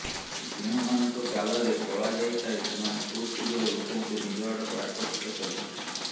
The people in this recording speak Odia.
ଯେଉଁମାନଙ୍କ ଗାଲରେ କଳାଜାଇ ଥାଏ ସେମାନେ ଖୁବ୍ ଶୀଘ୍ର ଲୋକଙ୍କୁ ନିଜ ଆଡ଼କୁ ଆକର୍ଷିତ କରିପାରନ୍ତି